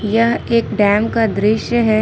यह एक डैम का दृश्य है।